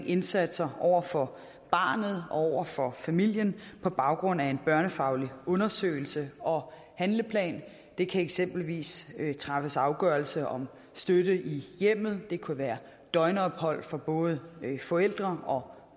indsatser over for barnet og over for familien på baggrund af en børnefaglig undersøgelse og handleplan der kan eksempelvis træffes afgørelse om støtte i hjemmet det kunne være døgnophold for både forældre og